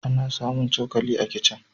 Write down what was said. Ana samun cokali a kicin.